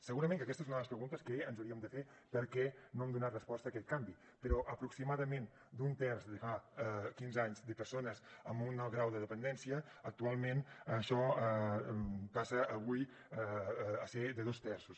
segurament que aquesta és una de les preguntes que ens hauríem de fer per què no hem donat resposta a aquest canvi però aproximadament d’un terç de fa quinze anys de persones amb un alt grau de dependència actualment això passa avui a ser de dos terços